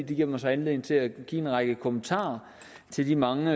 det giver mig så anledning til at give en række kommentarer til de mange